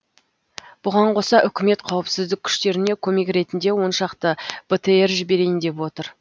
бұған қоса үкімет қауіпсіздік күштеріне көмек ретінде оншақты бтр жіберейін деп отыр